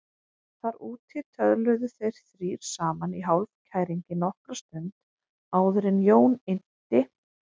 Þar úti töluðu þeir þrír saman í hálfkæringi nokkra stund áður en Jón innti